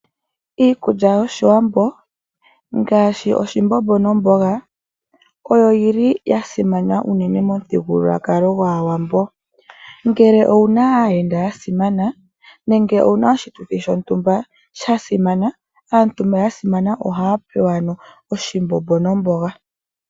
iikulya yOshiwambo ngaashi oshimbombo nomboga oyo yi li ya simana unene momuthigululwakalo gwAawambo. Ngele owu na aayenda ya simana nenge owu na oshituthi shontumba sha simana aantu mba ya simana ohaya pewa ano oshimbombo nomboga.